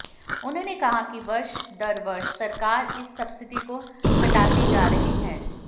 उन्होंने कहा कि वर्ष दर वर्ष सरकार इस सब्सिडी को घटाती जा रही है